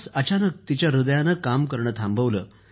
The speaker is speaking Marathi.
अचानक तिच्या ह्रदयानं काम करणं थांबवलं